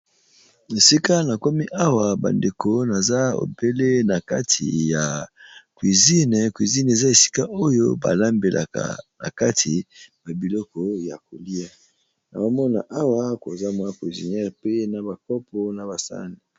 Esika na komi awa bandeko naza ebele na kati ya cuizine cuizine eza esika oyo balambelaka na kati ba biloko ya kolia naomona awa koza mwa pisiniere mpe na bakopo na basane.